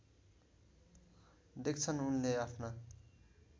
देख्छन् उनले आफ्ना